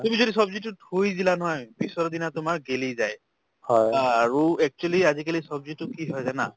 তুমি যদি ছব্জিতো থৈ দিলা নহয় পিছৰদিনা তোমাৰ গেলি যায় আৰু actually ছব্জিতো কি হয় জানা